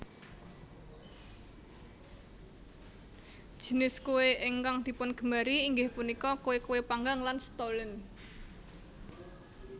Jinis kue ingkang dipungemari inggih punika kue kue panggang lan stollen